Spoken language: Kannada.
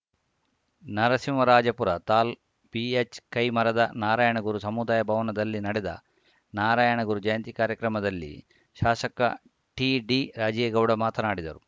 ನರಸಿಂಹರಾಜಪುರ ತಾಲ್ ಬಿಎಚ್‌ಕೈಮರದ ನಾರಾಯಣಗುರು ಸಮುದಾಯ ಭವನದಲ್ಲಿ ನಡೆದ ನಾರಾಯಣಗುರು ಜಯಂತಿ ಕಾರ್ಯಕ್ರಮದಲ್ಲಿ ಶಾಸಕ ಟಿಡಿರಾಜೇಗೌಡ ಮಾತನಾಡಿದರು